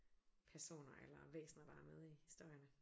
Personer eller væsner der er med i historierne